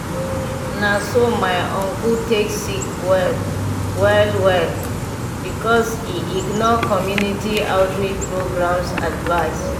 na so my uncle take sick well well well because e ignore community outreach programs advice.